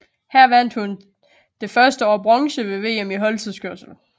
Her vandt hun det første år bronze ved VM i holdtidskørsel